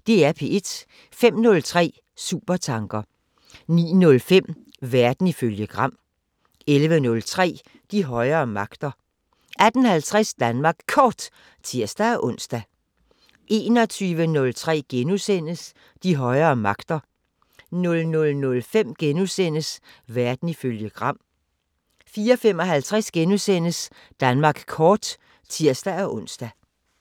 05:03: Supertanker 09:05: Verden ifølge Gram 11:03: De højere magter 18:50: Danmark Kort (tir-ons) 21:03: De højere magter * 00:05: Verden ifølge Gram * 04:55: Danmark Kort *(tir-ons)